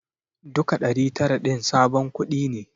Duka ɗari tara din sabon kuɗi ne.